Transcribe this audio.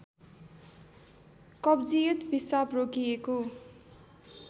कब्जियत पिसाब रोकिएको